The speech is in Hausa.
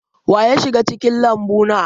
Wa ya shiga cikin lambu na?